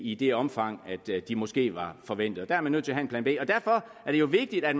i det omfang det måske var forventet der er man nødt til at have en plan b og derfor er det jo vigtigt at